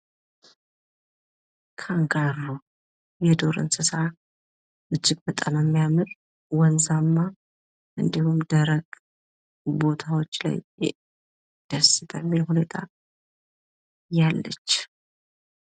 ካንጋሮ የዱር እንስሳ ፤ እጅግ በጣም የሚያምር ፣ ወንዛማ፣ እንዲሁም ደረቅ ቦታዎች ላይ ደስ በሚል ሁኔታ ያለች።